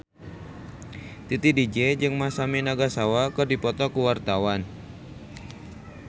Titi DJ jeung Masami Nagasawa keur dipoto ku wartawan